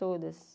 Todas.